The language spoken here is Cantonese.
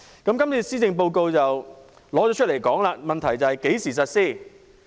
今次的施政報告正提出類似建議，問題是何時實施。